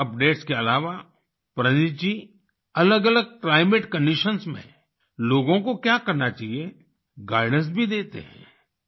weather updates के अलावा प्रनीथ जी अलगअलग क्लाइमेट कंडीशंस में लोगों को क्या करना चाहिए गाइडेंस भी देते हैं